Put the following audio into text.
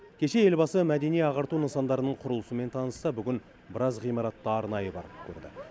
кеше елбасы мәдени ағарту нысандарының құрылысымен танысса бүгін біраз ғимаратты арнайы барып көрді